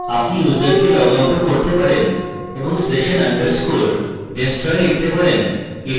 আপনি ইউসারকে log আউটও করতে পারেন এবং session _ destroy লিখতে পারেন